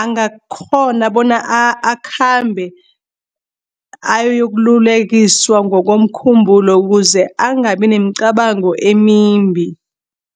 angakghona bona akhambe ayokululekiswa ngokomkhumbulo ukuze angabi nemicabango emimbi.